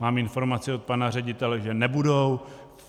Mám informaci od pana ředitele, že nebudou.